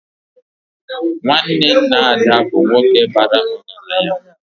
Nwanne nna Ada bụ nwoke bara ọgaranya